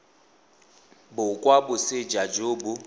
bo kwa moseja jo bo